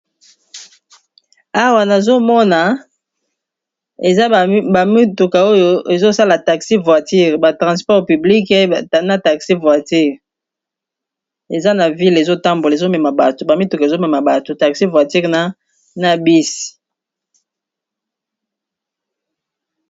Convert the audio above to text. Awa nazomona eza ba mituka oyo ezosala taxi voiture ba transport publique na taxi voiture eza na ville ezotambola ba mituka ezomema bato taxi voiture na bus.